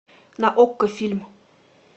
на окко фильм